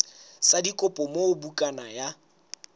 sa dikopo moo bukana ya